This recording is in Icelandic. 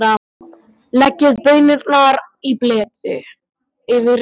Leggið baunirnar í bleyti yfir nótt.